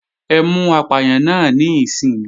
Ẹ mú apàyàn náà níìsín!